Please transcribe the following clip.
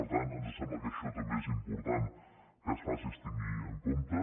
per tant ens sembla que això també és important que es faci es tingui en compte